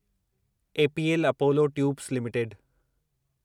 APL Apollo tubes limited